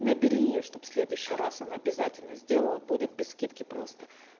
набери её чтобы в следующий раз она обязательно сделала будет без скидки просто